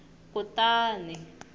kutani